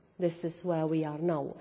This is where we are now.